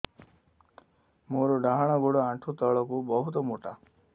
ମୋର ଡାହାଣ ଗୋଡ ଆଣ୍ଠୁ ତଳୁକୁ ବହୁତ ମୋଟା